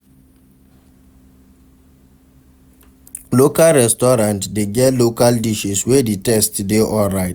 Local restaurant de get local dishes wey di taste de alright